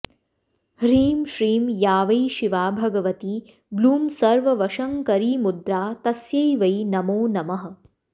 ह्रीं श्रीं या वै शिवा भगवती ब्लूं सर्ववशङ्करीमुद्रा तस्यै वै नमो नमः